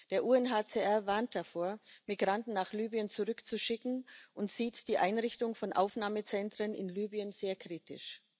Der UNHCR warnt davor, Migranten nach Libyen zurückzuschicken, und sieht die Einrichtung von Aufnahmezentren in Libyen sehr kritisch.